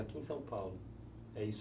Aqui em São Paulo? É isso?